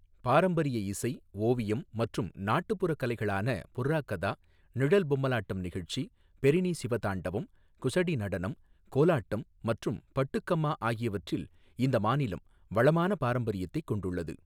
பாரம்பரிய இசை, ஓவியம் மற்றும் நாட்டுப்புறக் கலைகளான புர்ரா கதா, நிழல் பொம்மலாட்டம் நிகழ்ச்சி, பெரினி சிவதாண்டவம், குஸடி நடனம், கோலாட்டம் மற்றும் பட்டுகம்மா ஆகியவற்றில் இந்த மாநிலம் வளமான பாரம்பரியத்தைக் கொண்டுள்ளது.